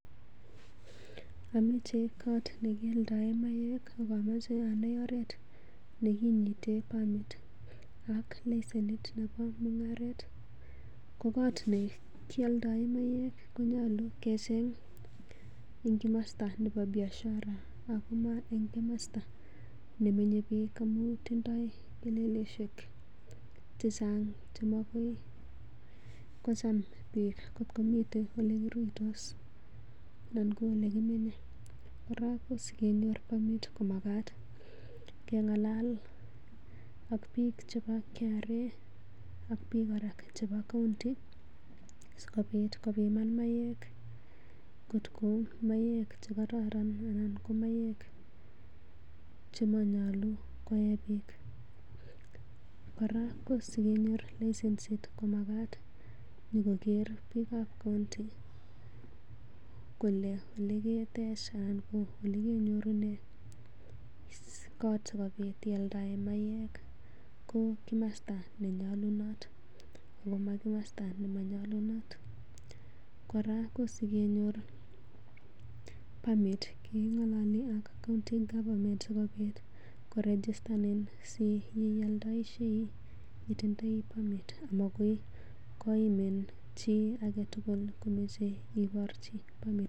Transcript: Amache koot ne kialdaen maiywek ak omoche aai oret ne kinyite permit ak lesenit nebo mung'aret ko koot ne kioldoen maiywek konyolu kecheng en komostor nebo biashara ago moe en komosta nemenye biik amun tindo keleleishek chechang ago mogoi kocham biik kotko miten ye kiruitos anan ko ole kimenye. Kora ko sikenyor permit komagat keng'alal ak biik chebo KRA ak biik kora chebo county sikobit kopiman maiywek kotko maiywek che kororon anan ko maiywek chemonyolu koe biik. Kora kosikenyor lesenit komagat kenyokenyor koger biikab county kole ole ketech anan ole kenyorunde koot sikobit ialdaen maiywek ko komosta ne nyolunot ago ma komosta nemonyolunot. Kora kosikenyor permit keng'olole ak county government sikobit korejistan asi inioldoishei itindoi permit amagoi koimin chi agetugul komoche iborji permit.